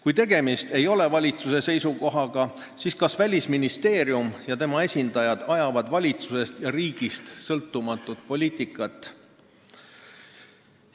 Kui tegemist ei ole valitsuse seisukohaga, siis kas Välisministeerium ja tema esindajad ajavad valitsusest ja riigist sõltumatut poliitikat?